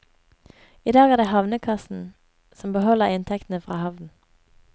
I dag er det havnekassen som beholder inntektene fra havnen.